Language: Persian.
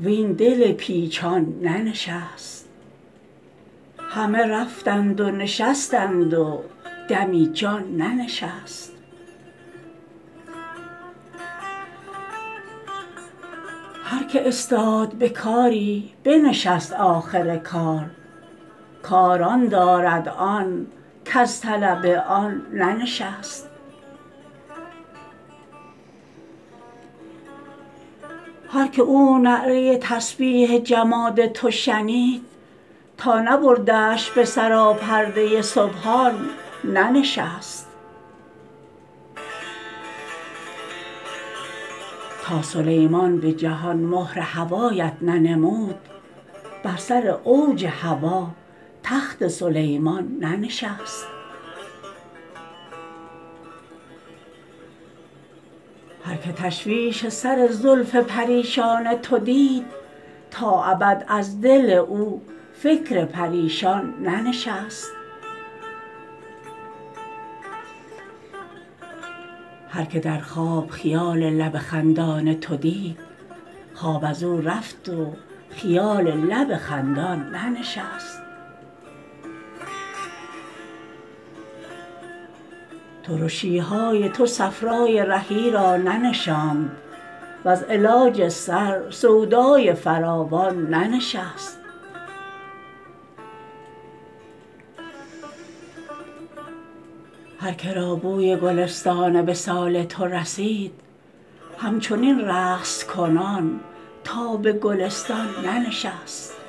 وین دل پیچان ننشست همه رفتند و نشستند و دمی جان ننشست هر کی استاد به کاری بنشست آخر کار کار آن دارد آن کز طلب آن ننشست هر کی او نعره تسبیح جماد تو شنید تا نبردش به سراپرده سبحان ننشست تا سلیمان به جهان مهر هوایت ننمود بر سر اوج هوا تخت سلیمان ننشست هر کی تشویش سر زلف پریشان تو دید تا ابد از دل او فکر پریشان ننشست هر کی در خواب خیال لب خندان تو دید خواب از او رفت و خیال لب خندان ننشست ترشی های تو صفرای رهی را ننشاند وز علاج سر سودای فراوان ننشست هر که را بوی گلستان وصال تو رسید همچنین رقص کنان تا به گلستان ننشست